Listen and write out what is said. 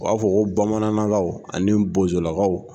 U b'a fɔ ko bamanankaw ani bozolakaw